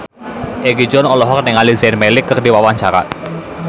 Egi John olohok ningali Zayn Malik keur diwawancara